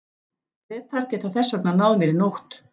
Bretar geta þess vegna náð mér í nótt.